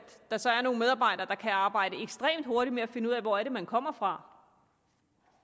der så er nogle medarbejdere der kan arbejde ekstremt hurtigt med at finde ud af hvor det er man kommer fra